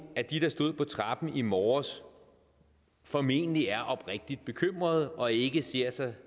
at de der stod på trappen i morges formentlig er oprigtigt bekymrede og ikke ser sig